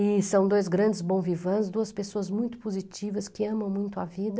E são dois grandes bon vivant, duas pessoas muito positivas que amam muito a vida.